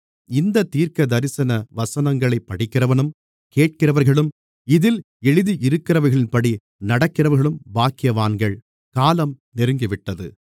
இந்தத் தீர்க்கதரிசன வசனங்களைப் படிக்கிறவனும் கேட்கிறவர்களும் இதில் எழுதியிருக்கிறவைகளின்படி நடக்கிறவர்களும் பாக்கியவான்கள் காலம் நெருங்கிவிட்டது